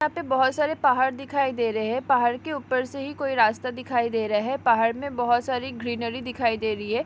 यहाँ पे बहुत सारे पहाड़ दिखाई दे रहे है पहाड़ के ऊपर से ही कोई रास्ता दिखाई दे रहा है पहाड़ में बहोत सारी ग्रीनरी दिखाई दे रही है।